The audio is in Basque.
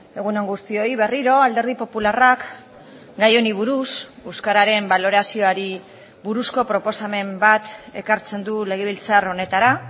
egun on guztioi berriro alderdi popularrak gai honi buruz euskararen balorazioari buruzko proposamen bat ekartzen du legebiltzar honetara